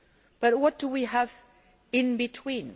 But what do we have in between?